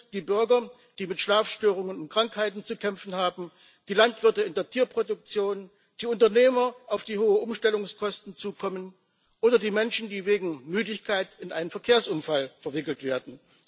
Und das sind die Bürger, die mit Schlafstörungen und Krankheiten zu kämpfen haben, die Landwirte in der Tierproduktion, die Unternehmer, auf die hohe Umstellungskosten zukommen, oder die Menschen, die wegen Müdigkeit in einen Verkehrsunfall verwickelt werden.